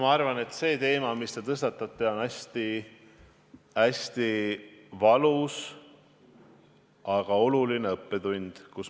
Ma arvan, et see teema, mille te tõstatasite – see on hästi valus, aga oluline õppetund.